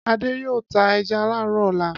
Adé yóò ta ẹja láàárọ̀ ọ̀la.